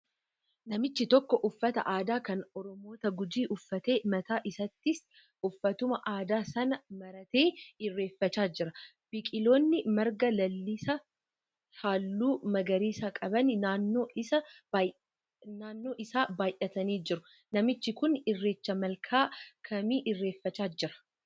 Namichi tokko uffata aadaa kan Oromoota Gujii uffaatee mataa isaattis uffatuma aada sana maratee irreeffachaa jira. Biqiloonni marga lalisaa halluu magariisa qaban naannoo isaa baayyatanii jiru. Namichi kun Irreecha malkaa kamii irreeffachaa jiraa?